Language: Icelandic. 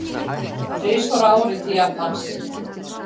Þrisvar á ári til Japans?